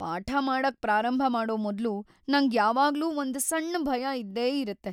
ಪಾಠ ಮಾಡಕ್ ಪ್ರಾರಂಭ ಮಾಡೋ ಮೊದ್ಲು ನಂಗ್ ಯಾವಾಗ್ಲೂ ಒಂದ್ ಸಣ್ ಭಯ ಇದ್ದೇ ಇರುತ್ತೆ.